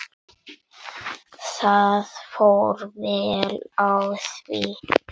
Það fór vel á því.